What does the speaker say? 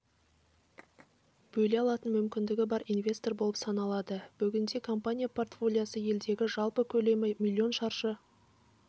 бөле алатын мүмкіндігі бар инвестор болып саналады бүгінде компания портфолиосы елдегі жалпы көлемі млн шаршы